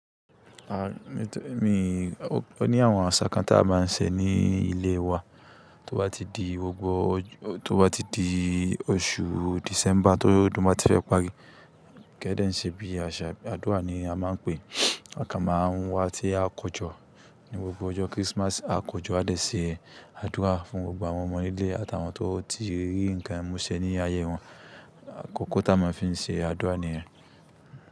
À, ni tó, mi, o ní àwọn àṣà kan tá máa ń se ní ilé wa, tó bá ti di gbogbo ọjọ́, tó bá ti di oṣù December tó odún bá ti rẹ pá gidi, kẹ́dẹ̀ ń ṣe bí i aṣa, àdúrà ni a máa ń pè é. A kan máa ń wá ti a kọjọ́. Ni gbogbo ọjọ́ Christmas, a kójọ́ a dẹ̀ ṣe àdúrà fún gbogbo àwọn ọmọ nílé àtàwọn tó ti rí nǹkan mu ṣe ní ayẹyẹ wọn. Àkókò tí a máa ń fi ṣe àdúrà nìyẹn.